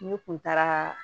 Ne kun taara